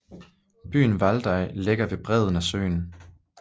Byen Valdaj ligger ved bredden af søen